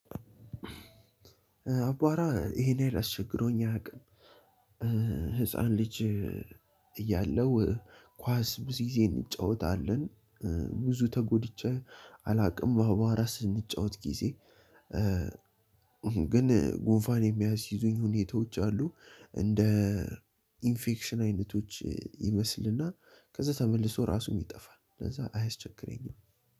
አቧራ ይሄን ያሀል አስቸግሮኝ አያቅም። ህፃን ልጅ። እያለው ኳስ ብዙ ጊዜ እንጫወታለን። ብዙ ተጎድጬ አላውቅም በባራ ስንጫወት ጊዜ። ግን ጉንፋን የሚያስይዙኝ ሁኔታዎች አሉ። እንደ ኢንፌክሽን አይነቶች ይመስልና ከዛ ተመልሶ ራሱም ይጠፋል። ከዛ አያስቸግረኝም።